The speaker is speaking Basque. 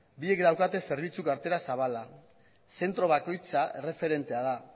biek daukate zerbitzu kartera zabala zentro bakoitza erreferentea da